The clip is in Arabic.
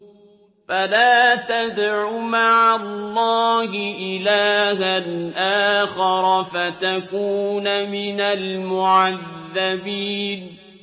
فَلَا تَدْعُ مَعَ اللَّهِ إِلَٰهًا آخَرَ فَتَكُونَ مِنَ الْمُعَذَّبِينَ